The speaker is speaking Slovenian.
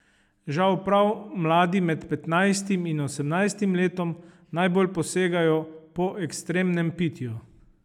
Žal prav mladi med petnajstim in osemnajstim letom najbolj posegajo po ekstremnem pitju.